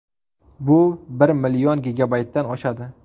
Bu bir million gigabaytdan oshadi.